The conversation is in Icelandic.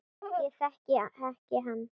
Ég þekki ekki annað.